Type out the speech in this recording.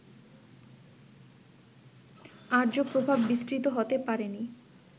আর্য প্রভাব বিস্তৃত হতে পারেনি